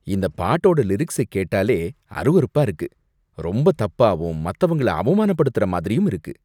இந்த பாட்டோட லிரிக்ஸை கேட்டாலே அருவருப்பா இருக்கு. ரொம்ப தப்பாவும் மத்தவங்கள அவமானப்படுத்துற மாதிரியும் இருக்கு.